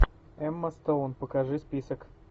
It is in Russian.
эмма стоун покажи список